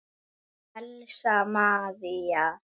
Elsa María.